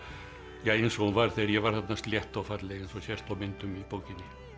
eins og hún var þegar ég var þarna slétt og falleg eins og sést á myndum í bókinni